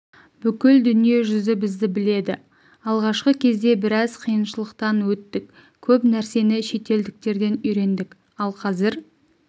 бүкіл дүниежүзі бізді біледі алғашқы кезде біраз қиыншылықтан өттік көп нәрсені шетелдіктерден үйрендік ал қазір